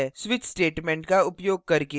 switch statement का उपयोग करके